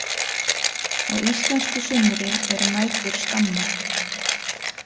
Á íslensku sumri eru nætur skammar.